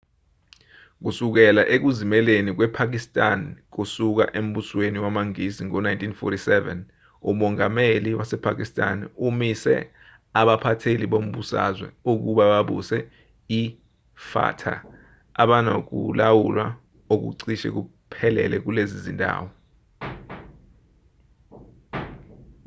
kusukela ekuzimeleni kwepakistan kusuka embusweni wamangisi ngo-1947 umongameli wasepakistan umise abaphatheli bombusazwe ukuba babuse ifata abanokulawula okucishe kuphelele kulezi zindawo